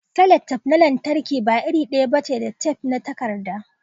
sellotape na lantarki ba iri daya bace da tef na takarda